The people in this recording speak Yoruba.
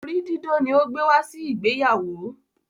orí didán ni o gbe wá si ìgbéyàwó.